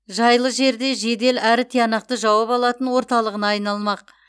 жайлы жерде жедел әрі тиянақты жауап алатын орталығына айналмақ